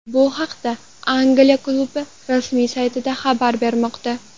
Bu haqda Angliya klubi rasmiy sayti xabar bermoqda.